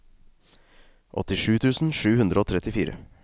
åttisju tusen sju hundre og trettifire